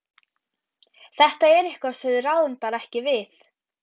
Þetta er eitthvað sem við ráðum bara ekki við.